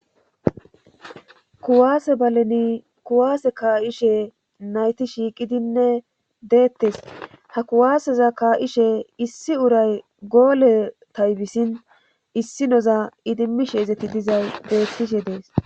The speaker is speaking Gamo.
kuwaase baleni kuwaase kaa7ishe nayti shiiqidinne deettes ha kuwaaseza kaa7ishe issi uray goole taybisin issi noza idimmishe ezeti dizay deettishe dees